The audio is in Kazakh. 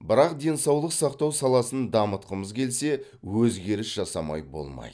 бірақ денсаулық сақтау саласын дамытқымыз келсе өзгеріс жасамай болмайды